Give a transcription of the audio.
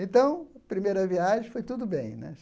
Então, a primeira viagem foi tudo bem né.